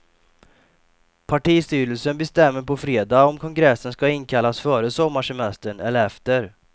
Partistyrelsen bestämmer på fredag om kongressen ska inkallas före sommarsemestern eller efter.